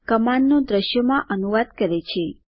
કમાન્ડનું દ્રશ્યો માં અનુવાદ કરે છે